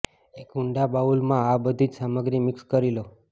એક ઊંડા બાઉલમાં આ બધી જ સામગ્રી મિક્સ કરી લો